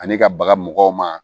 Ani ka baga mɔgɔw ma